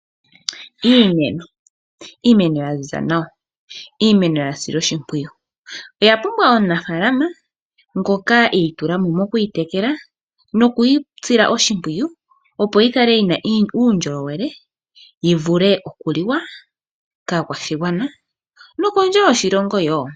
Iimeno ya ziza nawa, ya silwa oshimpwiyu oya pumbwa omunafalama ngoka itulamo mokwiitekela nokuyi sila oshimpwiyu opo yi kala yi na uundjolowele yi vule okuliwa kaakwashigwana nokondje yoshilongo wo.